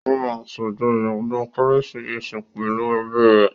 Ó máa ṣàjọyọ̀ ọdún kérésìmesì pẹ̀lú ẹ́bi rẹ̀